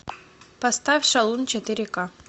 поставь шалун четыре ка